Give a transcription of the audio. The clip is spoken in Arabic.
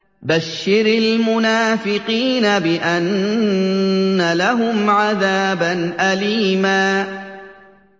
بَشِّرِ الْمُنَافِقِينَ بِأَنَّ لَهُمْ عَذَابًا أَلِيمًا